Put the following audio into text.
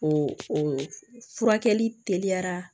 O o furakɛli teliyara